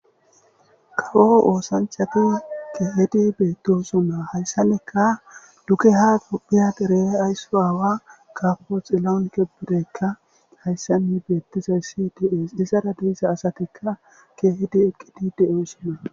kawo oosanchafi keehedi beetto suma hayssanekka duke ha gophiyaderee aysu aawa kapoxillounke bireekka hayssani beettizay sidies isara deyssa asatikka keehedi eqqidi de7o suma